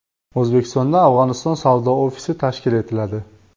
O‘zbekistonda Afg‘oniston savdo ofisi tashkil etiladi.